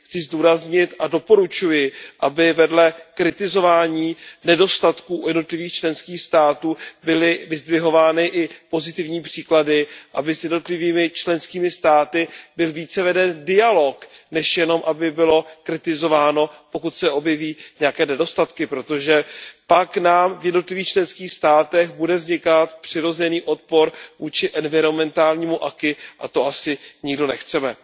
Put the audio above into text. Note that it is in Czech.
Chci zdůraznit a doporučuji, aby vedle kritizování nedostatků u jednotlivých členských států byly vyzdvihovány i pozitivní příklady, aby s jednotlivými členskými státy byl více veden dialog, než jenom aby bylo kritizováno, pokud se objeví nějaké nedostatky, protože pak nám v jednotlivých členských státech bude vznikat přirozený odpor vůči environmentálnímu aquis a to asi nikdo nechceme.